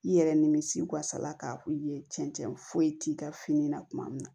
I yɛrɛ nimisi wasala k'a fɔ i ye cɛncɛn foyi t'i ka fini na tuma min na